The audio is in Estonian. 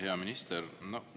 Hea minister!